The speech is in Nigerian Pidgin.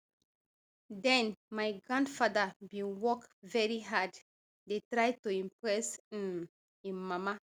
den my grandfather bin work very hard dey try to impress um im mama